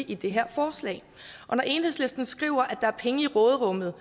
i det her forslag og når enhedslisten skriver at der er penge i råderummet